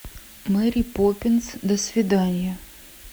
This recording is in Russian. мэри поппинс до свидания